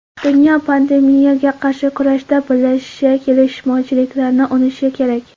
Dunyo pandemiyaga qarshi kurashda birlashishi, kelishmovchiliklarni unutishi kerak.